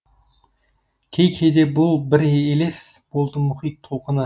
кей кейде бұл бір елес болды мұхит толқыны